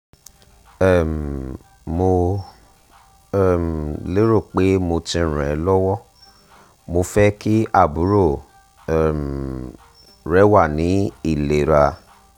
um mo um lero pe mo ti ran e lowomo fe ki aburo um re wa ni ilera